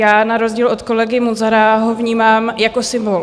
Já na rozdíl od kolegy Munzara ho vnímám jako symbol.